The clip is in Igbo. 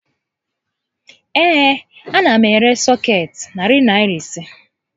Ee, a na m ere sọkeetị Narị Naịra ise